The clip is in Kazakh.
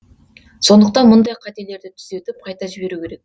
сондықтан мұндай қателерді түзетіп қайта жіберу керек